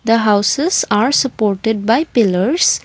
the houses are supported by pillars.